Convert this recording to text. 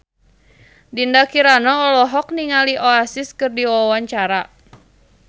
Dinda Kirana olohok ningali Oasis keur diwawancara